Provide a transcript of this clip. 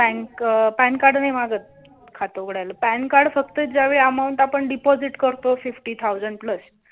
pan card नाही मागत खात उघडायला pan card फक्त ज्या वेळी amount आपण deposit करतो fifty thousand plus